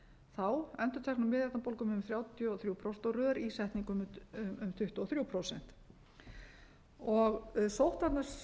þá endurteknum miðeyrnabólgum um þrjátíu og þrjú prósent og rörísetningum um tuttugu og þrjú prósent sóttvarna svið landlæknisembættisins hér